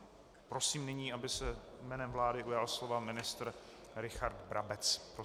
Prosím nyní, aby se jménem vlády ujal slova ministr Richard Brabec.